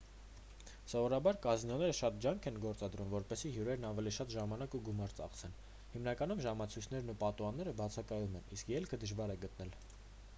սովորաբար կազինոները շատ ջանք են գործադրում որպեսզի հյուրերն ավելի շատ ժամանակ և գումար ծախսեն հիմնականում ժամացույցերն ու պատուհանները բացակայում են իսկ ելքը դժվար է գտնել